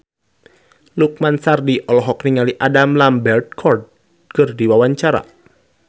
Lukman Sardi olohok ningali Adam Lambert keur diwawancara